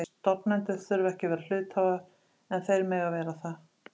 Stofnendur þurfa ekki að vera hluthafar en þeir mega vera það.